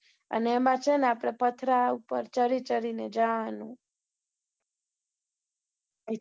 અને એમાં છે ને આપડે પથરા ઉપર ચડી